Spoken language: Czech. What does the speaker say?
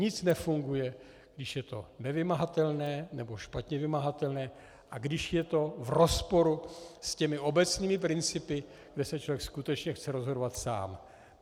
Nic nefunguje, když je to nevymahatelné nebo špatně vymahatelné a když je to v rozporu s těmi obecnými principy, kde se člověk skutečně chce rozhodovat sám.